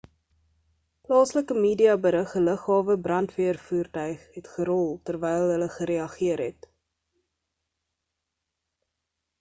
plaaslike media berig 'n lughawe brandweervoertuig het gerol terwyl hul gereageer het